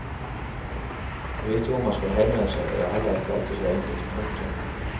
Å vite hvor man skal henvende seg er heller ikke alltid så enkelt. punktum